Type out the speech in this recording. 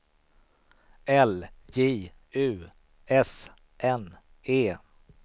L J U S N E